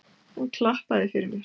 Hann klappaði fyrir mér.